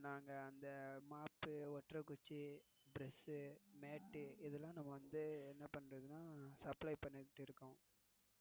நாங்க அந்த mop ஓட்டரை குச்சி brush mat இதுயெல்லாம் வந்து என்னபண்றதுன்னா supply பண்ணிட்டுஇருக்கோம்.